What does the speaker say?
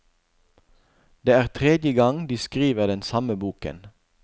Det er tredje gang de skriver den samme boken.